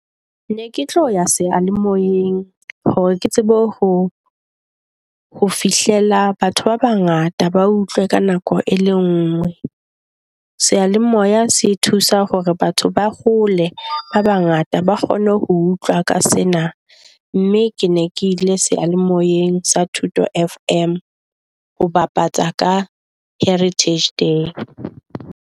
Ne ke tlo ya sealemoeng hore ke tsebe ho ho fihlela batho ba bangata ba utlwe ka nako e le nngwe. Seyalemoya se thusa hore ba hole ba bangata ba kgone ho utlwa ka sena mme ke ne ke ile seyalemoyeng sa Thuto FM ho bapatsa ka Heritage Day.